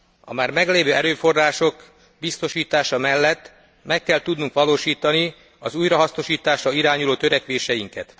A már meglévő erőforrások biztosítása mellett meg kell tudnunk valósítani az újrahasznosításra irányuló törekvéseinket.